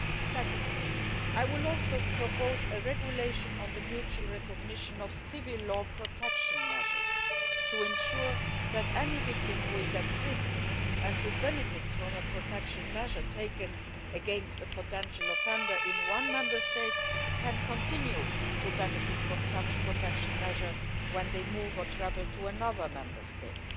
Secondly, I will also propose a regulation on the mutual recognition of civil law protection measures to ensure that any victim who is at risk, and who benefits from a protection measure taken against a potential offender in one Member State, can continue to benefit from such a measure when they move or travel to another Member State.